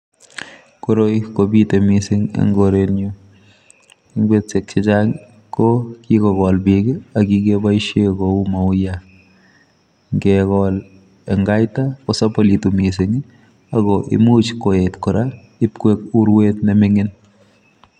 Koroi ko bite missing en korenyuun, eng betusiek che chaang ko kikogol biik ak kikebaisheen kou mauyaat ngekol ko sabulituun missing ii ako imuuch koyeet kora ip koek uruet ne mingiin.